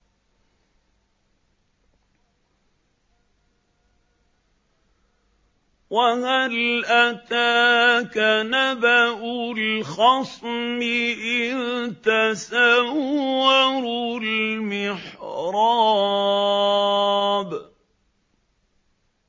۞ وَهَلْ أَتَاكَ نَبَأُ الْخَصْمِ إِذْ تَسَوَّرُوا الْمِحْرَابَ